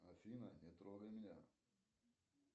афина не трогай меня